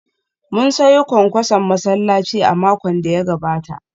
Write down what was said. Mun sayo kwankwason masallaci a makon da ya gabata